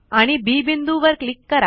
आणि बी बिंदू वर क्लिक करा